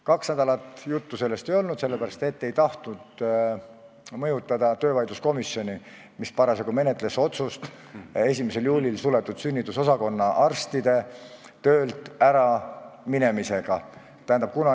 Kaks nädalat sellest juttu ei olnud, sest ma ei tahtnud mõjutada töövaidluskomisjoni, kes parasjagu menetles otsust, mis langetati 1. juulil suletud sünnitusosakonna arstide töölt äraminemise kohta.